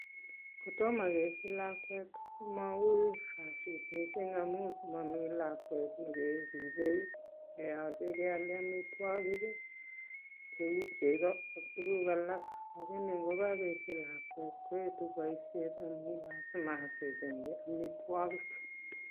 Kotoma kesich lakwet komaui kasit mising amu momi lakwet nekeribei, neyachei kealchi amitwagik cheu cheko ak tukuk alak . Lakini yekakesich lakwetkoetu boishet amu lakwet kolazima kechengchi amitwagik.